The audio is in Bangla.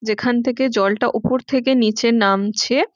যেখান থেকে জলটা ওপর থেকে নিচে নামছে ।